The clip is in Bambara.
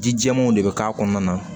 Ji jɛɛmanw de bɛ k'a kɔnɔna na